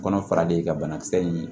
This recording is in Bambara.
Kɔnɔ fara de ka bana kisɛ in